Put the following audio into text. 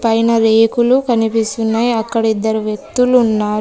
పైన రేకులు కనిపిస్తున్నాయి అక్కడ ఇద్దరు వ్యక్తులు ఉన్నారు.